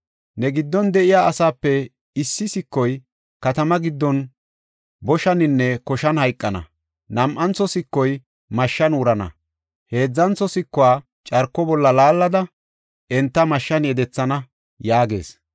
Ne giddon de7iya asaape issi sikoy katamaa giddon boshaninne koshan hayqana; nam7antho sikoy mashshan wurana; heedzantho sikuwa carko bolla laallada, enta mashshan yedethana” yaagees.